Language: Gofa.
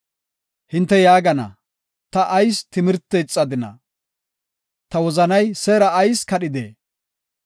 Hinte yaagana; “Ta ayis timirte ixadina? Ta wozanay seera ayis kadhidee?